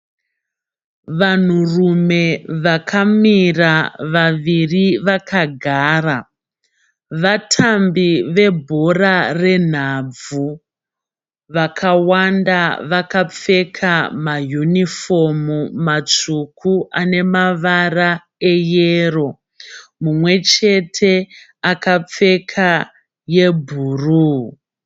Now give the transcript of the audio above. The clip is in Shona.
Vanhurume vakamira, vaviri vakagara. Vatambi vebhora renhabvu. Vakawanda vakapfeka mayunifomu matsvuku ane mavara eyero. Mumwechete akapfeka yebhuruu.